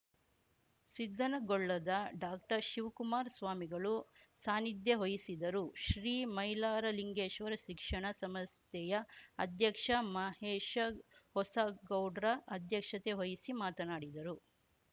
ಸಿದ್ದನಗೊಳ್ಳದ ಡಾಕ್ಟರ್ಶಿವಕುಮಾರ ಸ್ವಾಮಿಗಳು ಸಾನಿಧ್ಯ ವಹಿಸಿದ್ದರು ಶ್ರೀ ಮೈಲಾರಲಿಂಗೇಶ್ವರ ಶಿಕ್ಷಣ ಸಂಸ್ಥೆಯ ಅಧ್ಯಕ್ಷ ಮಹೇಶ ಹೊಸಗೌಡ್ರ ಅಧ್ಯಕ್ಷತೆ ವಹಿಸಿ ಮಾತನಾಡಿದರು